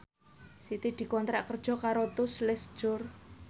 Siti dikontrak kerja karo Tous Les Jour